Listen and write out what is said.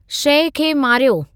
शइ खे मारियो